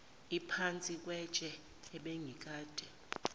uphansi kwetshe ebengikade